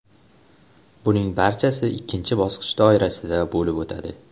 Buning barchasi ikkinchi bosqich doirasida bo‘lib o‘tadi.